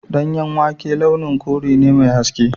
Danyen wake launin kore ne mai haske.